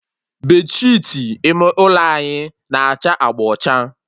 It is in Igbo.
Bedsheetị ime ụlọ anyị na-acha agba ọcha